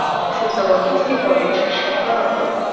Shu sababli, iste’foga chiqishga qaror qildim.